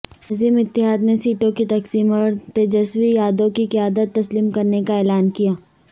عظیم اتحادنے سیٹوں کی تقسیم اورتیجسوی یادوکی قیادت تسلیم کرنے کااعلان کیا